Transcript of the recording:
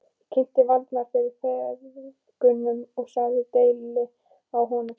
Ég kynnti Valdimar fyrir feðgunum og sagði deili á honum.